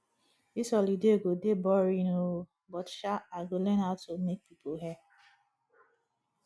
dis holiday go dey boring oo but sha i go learn how to make people hair